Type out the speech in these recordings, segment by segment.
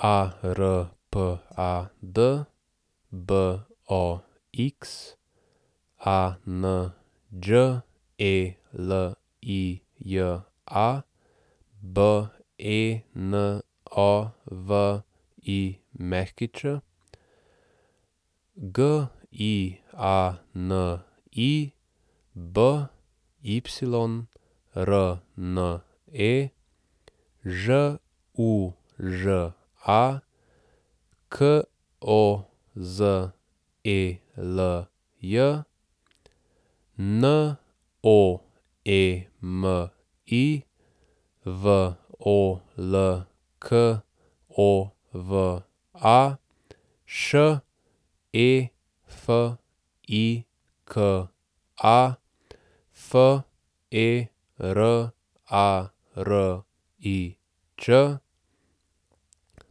Arpad Box, Anđelija Benović, Giani Byrne, Žuža Kozelj, Noemi Volkova, Šefika Ferarič, Darijan Bernetič, Hasko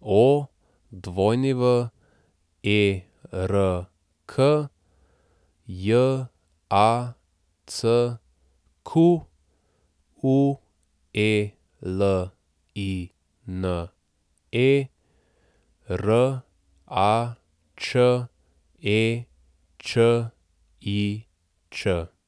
Werk, Jacqueline Račečič.